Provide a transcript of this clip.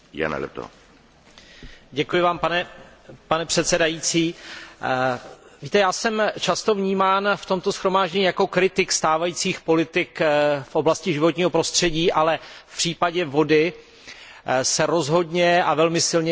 Pane předsedající, víte, já jsem často vnímán v tomto shromáždění jako kritik stávajících politik v oblasti životního prostředí, ale v případě vody se rozhodně a velmi silně připojuji ke všem svým předřečníkům.